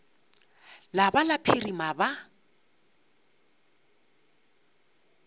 la ba la phirima ba